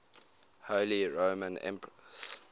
holy roman emperors